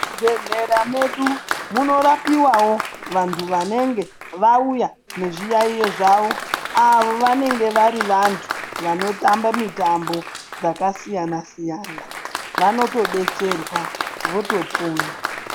Muzvibhedhlera medu munorapiwawo vantu Vanenge vauya nezviyaiyo zvawo Avo vanenge vari vantu Vanotamba mitambo dzakasiyana siyana vanotodetserwa votopona.